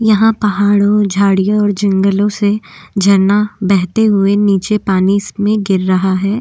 यहाँ पहाड़ों झाड़ियों और जंगलों से झरना बहते हुए नीचे पानी स में गिर रहा है।